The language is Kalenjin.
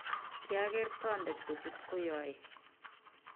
kiageer toonde kochut koyoe